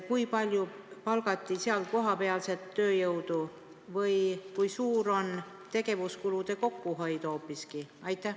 Kui palju palgati seal kohapealset tööjõudu ja kui suur on hoopis ehk tegevuskulude kokkuhoid?